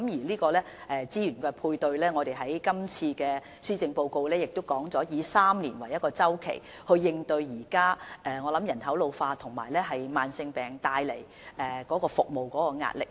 在資源配對上，正如施政報告提到，我們會以3年為一個周期作出資源配對，以應對現時人口老化及慢性病所帶來的服務壓力。